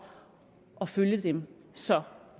at følge dem så